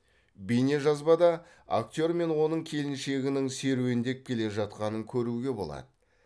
бейнежазбада актер мен оның келіншегінің серуендеп келе жатқанын көруге болады